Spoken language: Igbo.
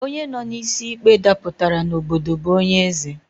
Onye nọ n'isi ikpe dapụtara n'obodo bụ onye eze